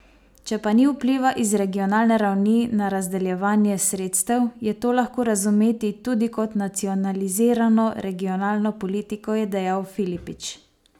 Če pa ni vpliva iz regionalne ravni na razdeljevanje sredstev, je to lahko razumeti tudi kot nacionalizirano regionalno politiko, je dejal Filipič.